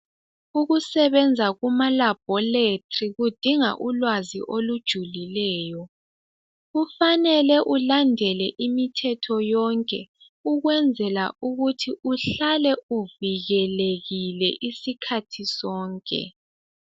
Ukusebenza kuma labholetri kudinga ulwazi olujulileyo kufanele ulandele imithetho yonke ukwenzela ukuthi uhlale uvikelekile isikhathi sonke.